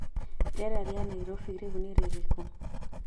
rĩera rĩa Nairobi rĩu nĩ rĩrĩkũ